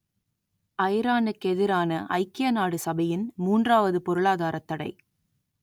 ஐரானுக்கெதிரான ஐக்கிய நாடு சபையின் மூன்றாவது பொருளாதாரத் தடை